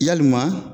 Yalima